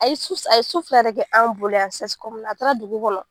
A ye su a ye su fila de kɛ an bolo yan na a taara dugu kɔnɔ.